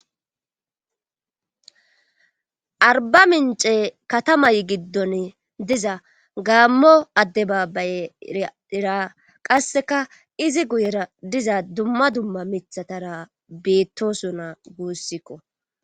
arba mince katamay giddon diza gaammo adde baabbayeera qasseka izi guyera diza dumma dumma mithatara beettosuna guussikko